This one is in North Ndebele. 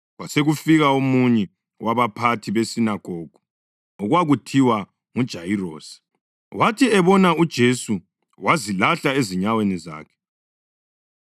Kwasekufika omunye wabaphathi besinagogu okwakuthiwa nguJayirosi, wathi ebona uJesu wazilahla ezinyaweni zakhe.